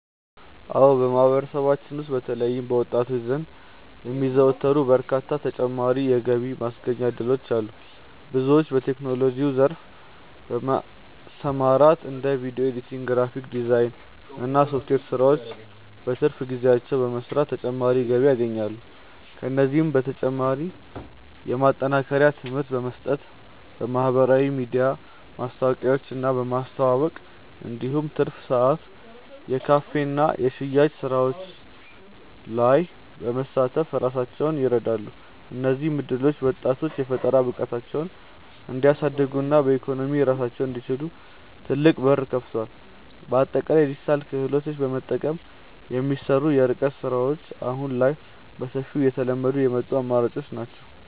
አዎ በማህበረሰባችን ውስጥ በተለይም በወጣቶች ዘንድ የሚዘወተሩ በርካታ ተጨማሪ የገቢ ማስገኛ እድሎች አሉ። ብዙዎች በቴክኖሎጂው ዘርፍ በመሰማራት እንደ ቪዲዮ ኤዲቲንግ፣ ግራፊክስ ዲዛይን እና የሶፍትዌር ስራዎችን በትርፍ ጊዜያቸው በመስራት ተጨማሪ ገቢ ያገኛሉ። ከእነዚህም በተጨማሪ የማጠናከሪያ ትምህርት በመስጠት፣ በማህበራዊ ሚዲያ ማስታወቂያዎችን በማስተዋወቅ እንዲሁም በትርፍ ሰዓት የካፌና የሽያጭ ስራዎች ላይ በመሳተፍ ራሳቸውን ይረዳሉ። እነዚህ እድሎች ወጣቶች የፈጠራ ብቃታቸውን እንዲያሳድጉና በኢኮኖሚ ራሳቸውን እንዲችሉ ትልቅ በር ከፍተዋል። በአጠቃላይ የዲጂታል ክህሎትን በመጠቀም የሚሰሩ የርቀት ስራዎች አሁን ላይ በሰፊው እየተለመዱ የመጡ አማራጮች ናቸው።